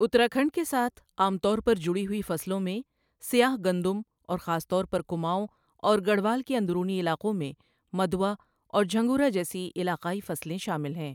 اتراکھنڈ کے ساتھ عام طور پر جڑی ہوئی فصلوں میں سیاہ گندم اور خاص طور پر کماؤں اور گڑھوال کے اندرونی علاقوں میں مدوا اور جھنگورا جیسی علاقائی فصلیں شامل ہیں۔